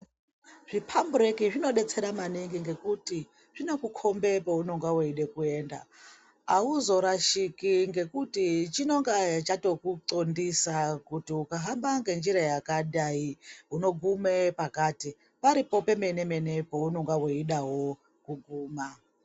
Zvipambureki zvinobetsera maningi ngekuti zvinokukombe peunonge veida kuenda. Hauzorashiki ngekuti chinonga chatokutxondisa kuti ukahamba ngenjira yakadai unogume pakati. Paripo pemene-mene paunonga weidawo kuguma.